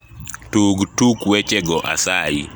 tug tuk wech go asayi